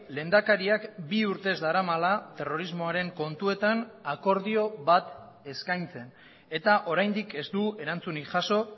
lehendakariak bi urtez daramala terrorismoaren kontuetan akordio bat eskaintzen eta oraindik ez du erantzunik jaso